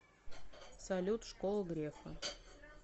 салют школа грефа